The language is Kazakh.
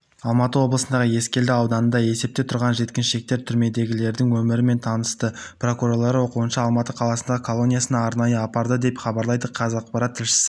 алматы облысындағы ескелді ауданында есепте тұрған жеткіншектер түрмедегілердің өмірімен танысты прокурорлар оқушыны алматы қаласындағы колониясына арнайы апарды деп хабарлайды қазақпарат тілшісі